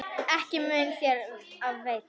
Ekki mun þér af veita.